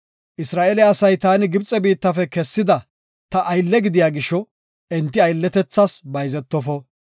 Isra7eele asay taani Gibxe biittafe kessida ta aylle gidiya gisho enti aylletethas bayzetofo.